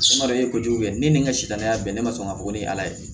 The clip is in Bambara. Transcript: Samara de ye kojugu kɛ ne ni n ka sitanaya bɛn ne ma sɔn k'a fɔ ko ne ye ala ye